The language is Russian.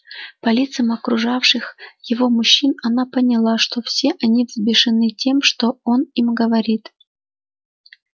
по лицам окружавших его мужчин она поняла что все они взбешены тем что он им говорит